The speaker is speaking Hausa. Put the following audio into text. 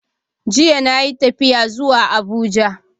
Jiya na yi tafiya zuwa Abuja.